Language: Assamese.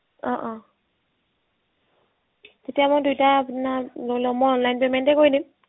অ অ এতিয়া মই দুয়োটা আপোনাক ধৰি লওক মই online payment এ কৰি দিম